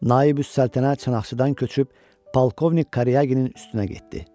Naibüs Səltənə Çanaqçıdan köçüb Polkovnik Karyaginin üstünə getdi.